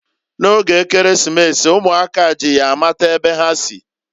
N'oge Ekeresimesi, umuaka ji ya amata ebe ha si.